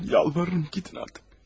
Yalvarırım, gidin artıq!